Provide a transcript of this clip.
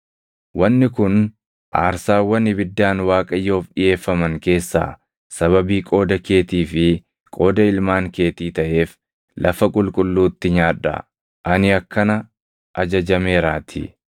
Wanni kun aarsaawwan ibiddaan Waaqayyoof dhiʼeeffaman keessaa sababii qooda keetii fi qooda ilmaan keetii taʼeef lafa qulqulluutti nyaadhaa; ani akkana ajajameeraatii.